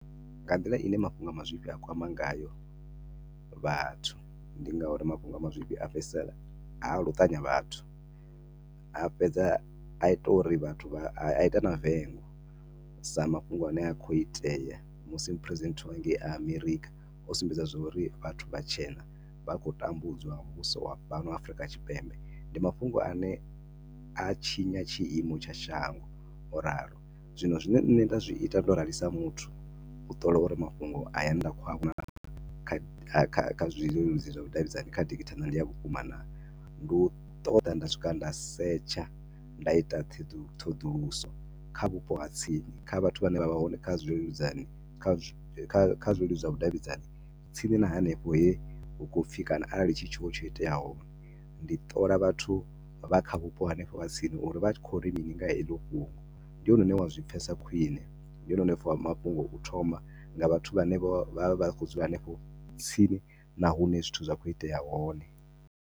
Nga nḓila ine mafhungo a mazwifhi a kwama ngayo vhathu ndi ngauri mafhungo a mazwifhi a fhedzisela a luṱanya vhathu, a fhedza a ita uri vhathu vha, a ita na vengo sa mafhungo ane a khou itea musi mupresidenthe wa hengei Amerikha o sumbedza zwo uri vhathu vhatshena vha khou tambudzwa nga muvhuso wa fhano Afrika Tshipembe. Ndi mafhungo ane a tshinya tshi imo tsha shango o ralo, zwine nne nda zwi ita ndo rali sa muthu u ṱola uri mafhungo aya ane nda khou a vhona kha kha kha zwileludzi zwavhudavhidzani kha digithala ndi a vhukuma naa, ndi u ṱoḓa nda swika nda setsha, nda ita theḓu ṱhoḓuluso kha vhupo ha tsini, kha vhathu vha ne vha vha hone kha zwi leludzani kha zwi kha leludzi zwa vhu davhidzani tsini na hanefho he hu khou upfi kana arali hu tshiwo tsho iteaho, ndi ṱola vhathu vha kha vhupo hanefho ha tsini uri vha tshi khou ri mini nga heḽo fhungo, ndi hone une wa zwipfesa khwiṋe, ndi hone une wa pfa mafhungo u thoma nga vhathu vha ne vho vha vha tshi khou dzula hanefho tsini nahune zwithu zwa khou itea hone.